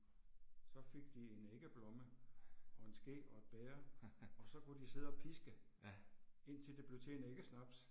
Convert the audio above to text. Så fik de en æggeblomme og en ske og et bæger og så kunne de sidde og piske indtil det blev til en æggesnaps